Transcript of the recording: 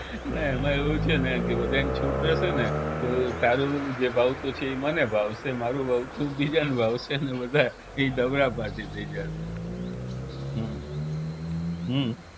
ને એમાં આવું છે ને કે બધાય ને છૂટ રેહશેને તો તારું જે ભાવતું છે ઈ મને ભાવશે મારું ભાવતું બીજાને ભાવશે ને બધાંય ઈ ઝગડાબાજી થઇ જાશે હા હા